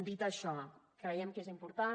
dit això creiem que és important